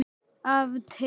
Af teig